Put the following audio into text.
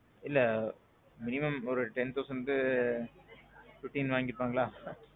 இல்ல minimum oru ten thousandக்கு, fifteen வாங்கிருப்பங்களா?